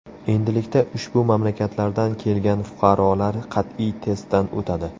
Endilikda ushbu mamlakatlardan kelgan fuqarolar qat’iy testdan o‘tadi.